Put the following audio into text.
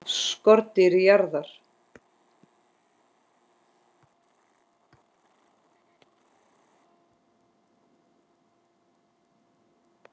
SKORDÝR JARÐAR!